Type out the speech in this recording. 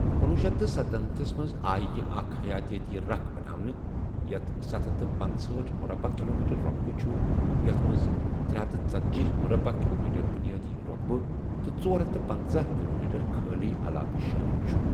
کُنۄہُ شیتھ تہٕ ستنمتَھس منٛز آیہ یہِ اكھ حیٲتِٲتی ركھ بناونہٕ ، یتھ ستھ ہتھَ تہٕ پنژہاٹھ مُربعہٕ کِلومیٖٹرٕ رۄقبَہ چُھ ، یِیٛتھ مَنٛز ترے ہتھَ ژتٔجی مُربعہِ کِلومیٖٹرٕ بُنیٲدی رۄقبہٕ تہٕ ژۄر ہتھَ تہٕ پٕنژہٕ کِلومیٖٹر كھٲلی علاقہٕ شٲمِل چُھ ۔